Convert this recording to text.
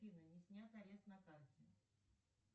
афина не снят арест на карте